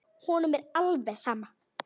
Honum er alveg sama.